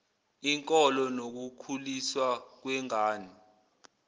inkolo nokukhuliswa kwengane